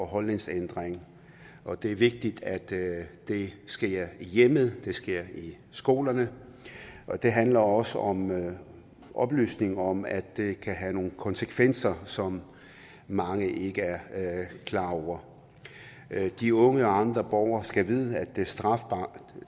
holdningsændring og det er vigtigt at det det sker i hjemmet og at det sker i skolerne og det handler også om oplysning om at det kan have nogle konsekvenser som mange ikke er klar over de unge og andre borgere skal vide at